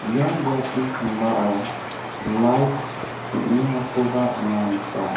ia biapni sambao lait teng·engakoba anga nika.